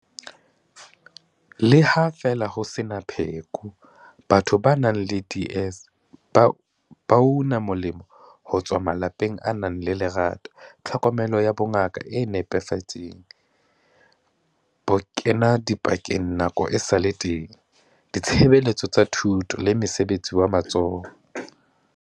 Le ha feela ho sena pheko, batho ba nang le DS ba una molemo ho tswa malapeng a nang le lerato, tlhokomelo ya bongaka e nepahetseng, bokenadipakeng nako esale teng, ditshebeletso tsa thuto le mosebetsi wa matsoho.